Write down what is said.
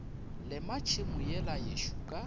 lema tšhemo yela yešo ka